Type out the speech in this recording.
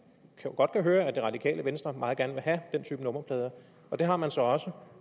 kan godt høre at det radikale venstre meget gerne vil have den type nummerplader og det har man så også